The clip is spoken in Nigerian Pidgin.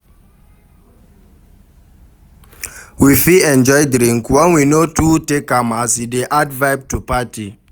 We fit enjoy drink when we no too take am as e dey add vibe to party